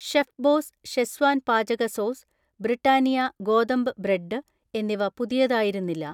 chef boss Schezwan പാചക sauce, Britannia ഗോതമ്പ് bread എന്നിവ പുതിയതായിരുന്നില്ല